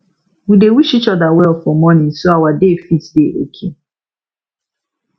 we dey wish each other well for morning so our day fit dey okay